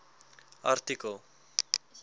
artikel